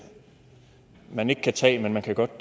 man ikke kan tage men at man godt